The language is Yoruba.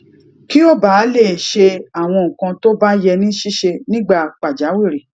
kí ó bàa lè ṣe àwọn nǹkan tó bá yẹ ní ṣíṣe nígbà pajawiri